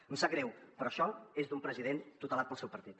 em sap greu però això és d’un president tutelat pel seu partit